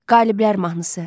Qaliblər mahnısı.